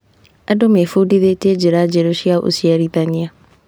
Andũ mebundithirie njĩra njerũ cia ũciarithania.